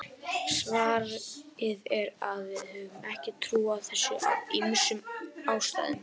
Svarið er að við höfum ekki trú á þessu af ýmsum ástæðum.